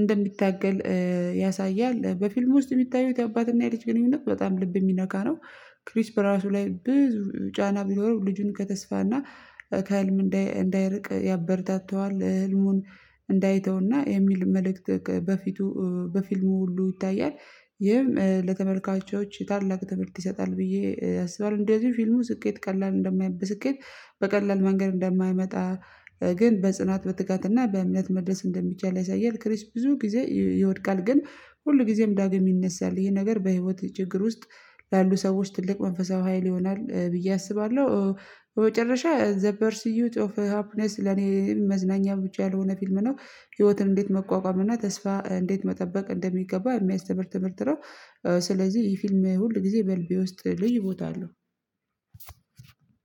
እንደሚታገል ያሳያል። በፊልም ውስጥ የሚታዩት የአባትና የልጅ ግንኙነት በጣም ልብ የሚነካ ነው። ክሪች በራሱ ላይ ብዙ ጫና ቢኖረው ልጁን ከተስፋና ከህልም እንዳይርቅ ያበረታታዋል ህልሙን እንዳይተውና የሚል መልእክት በፊቱ በፊልሙ ሁሉ ይታያል ይህም ለተመልካቾች ታላቅ ትምህርት ይሰጣል። ብዬ አስባለሁ እንደዚህ ፊልሙ ስኬት ቀላል እንደማይበት ስኬት በቀላል መንገድ እንደማይመጣ ግን በጽናት በጥጋትና በእምነት መድረስ እንደሚቻል ያሳያል። ክሪስት ብዙ ጊዜ ይወድቃል ግን ሁል ጊዜም ዳግም ይነሳል ይሄ ነገር በህይወት ችግር ውስጥ ላሉ ሰዎች ትልቅ መንፈሳዊ ሀይል ይሆናል። ብዬ አስባለሁ። በመጨረሻ ዘ ፐር ስዩት ኦፍ ሃፕነስ ለኔ መዝናኛ ብቻ ያልሆነ ፊልም ነው ህይወትን እንዴት መቋቋም እና ተስፋ እንዴት መጠበቅ እንደሚገባ የሚያስተምር ትምህርት ነው። ስለዚህ ይህ ፊልም ሁል ጊዜ በልቤ ውስጥ ልዩ ቦታ አለው።